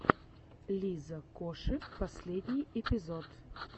лиза коши последний эпизод